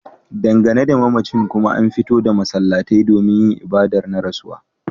Dangane da mamacin kuma an fito da masallatai domin yin ibadar na rasuwa